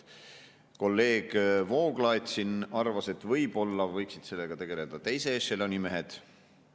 Kolleeg Vooglaid arvas, et võib-olla võiksid sellega tegeleda teise ešeloni mehed.